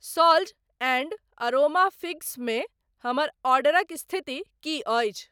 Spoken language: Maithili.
सॉल्ज़ एंड अरोमा फिग्स मे हमर ऑर्डरक स्थिति की अछि?